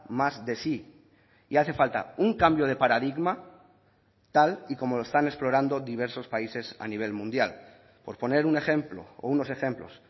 más de sí y hace falta un cambio de paradigma tal y como lo están explorando diversos países a nivel mundial por poner un ejemplo o unos ejemplos